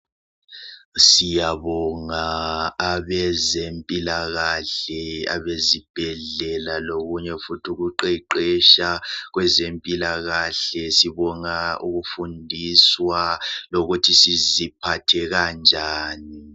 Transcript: Siyabonga abezempilakahle abezibhedlela lokunye futhi ukuqeqetsha. Kwezempilakahle sibonga ukufundiswa lokuthi siziphathe kanjani.